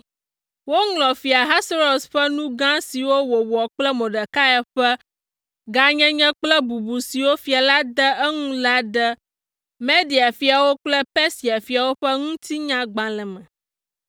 Woŋlɔ Fia Ahasuerus ƒe nu gã siwo wòwɔ kple Mordekai ƒe gãnyenye kple bubu siwo fia la de eŋu la ɖe Media fiawo kple Persia fiawo ƒe Ŋutinyagbalẽ me.